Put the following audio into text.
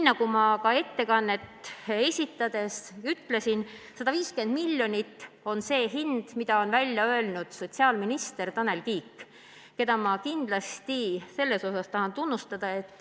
Nagu ma ettekannet esitades ütlesin, 150 miljonit on see hind, mille on välja öelnud sotsiaalminister Tanel Kiik, keda ma kindlasti tahan tunnustada.